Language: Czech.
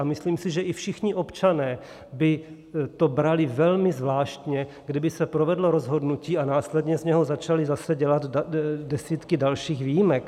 A myslím si, že i všichni občané by to brali velmi zvláštně, kdyby se provedlo rozhodnutí a následně z něj začaly zase dělat desítky dalších výjimek.